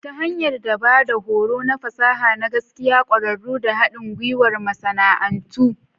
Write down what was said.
Ta hanyar ba da horo na fasaha na gaske, ƙwararru, da haɗin gwiwar masana'antu.